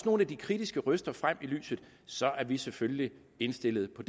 nogle af de kritiske røster så er vi selvfølgelig indstillet på